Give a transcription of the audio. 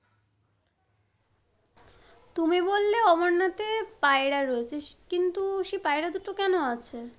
তুমি বললে অমরনাথে পায়রা রয়েছে, কিন্তু সেই পায়রা দুটা কেন আছে?